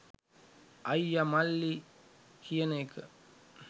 අයිය මල්ලි කියන එක